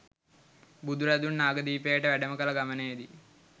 බුදුරදුන් නාගදීපයට වැඩම කළ ගමනේ දී